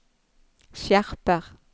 skjerper